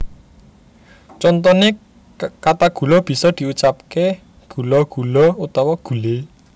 Contone kata gula bisa diucapke gula gulo utawa gule